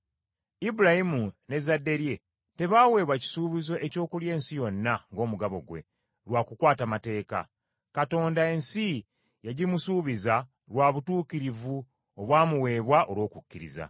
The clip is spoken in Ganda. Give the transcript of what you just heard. Ibulayimu n’ezzadde lye tebaaweebwa kisuubizo eky’okulya ensi yonna, ng’omugabo gwe, lwa kukwata mateeka. Katonda, ensi yagimusuubiza lwa butuukirivu obwamuweebwa olw’okukkiriza.